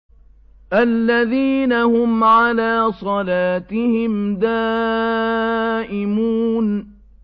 الَّذِينَ هُمْ عَلَىٰ صَلَاتِهِمْ دَائِمُونَ